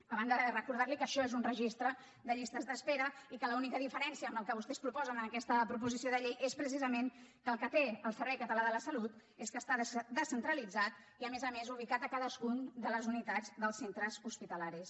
a banda de recordar li que això és un registre de llistes d’espera i que l’única diferència amb el que vostès proposen en aquesta proposició de llei és precisament que el que té el servei català de la salut és que està descentralitzat i a més a més ubicat a cadascuna de les unitats dels centres hospitalaris